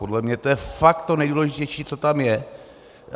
Podle mě to je fakt to nejdůležitější, co tam je.